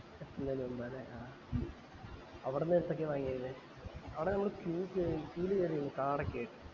ള്ള ജന്മ ല്ലേ ആഹ് അവടന്ന് എത്രക വാങ്ങിയിരുന്നെ അവടെ queue ല് queue ല് കേറി നിന്നു card ഒക്കെ ആയിട്ട്